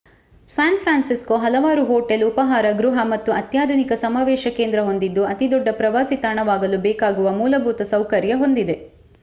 San Francisco ಹಲವಾರು hotel ಉಪಾಹಾರ ಗೃಹ ಮತ್ತು ಅತ್ಯಾಧುನಿಕ ಸಮಾವೇಶ ಕೇಂದ್ರ ಹೊಂದಿದ್ದು ಅತಿ ದೊಡ್ಡ ಪ್ರವಾಸಿ ತಾಣವಾಗಲು ಬೇಕಾಗುವ ಮೂಲಭೂತ ಸೌಕರ್ಯ ಹೊಂದಿದೆ